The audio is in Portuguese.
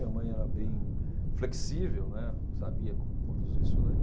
Minha mãe era bem flexível, né, sabia conduzir isso daí.